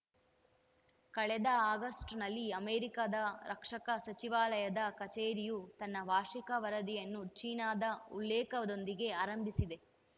ಕಳೆದ ಆಗಸ್ಟ್‌ನಲ್ಲಿ ಅಮೆರಿಕದ ರಕ್ಷಣಾ ಸಚಿವಾಲಯದ ಕಚೇರಿಯು ತನ್ನ ವಾರ್ಷಿಕ ವರದಿಯನ್ನು ಚೀನಾದ ಉಲ್ಲೇಖದೊಂದಿಗೇ ಆರಂಭಿಸಿದೆ